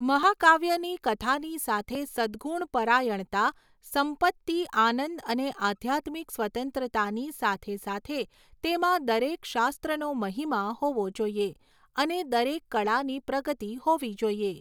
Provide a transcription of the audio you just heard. મહાકાવ્યની કથાની સાથે સદગુણ પરાયણતા, સંપત્તિ, આનંદ અને આધ્યાત્મિક સ્વતંત્રતાની સાથે સાથે તેમાં દરેક શાસ્ત્રનો મહિમા હોવો જોઈએ અને દરેક કળાની પ્રગતી હોવી જોઈએ.